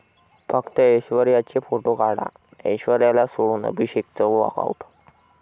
फक्त ऐश्वर्याचे फोटो काढा', ऐश्वर्याला सोडून अभिषेकचं 'वॉकआऊट'